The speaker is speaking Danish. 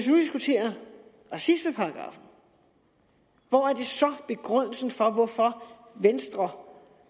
nu diskuterer racismeparagraffen hvor er så begrundelsen for at venstre om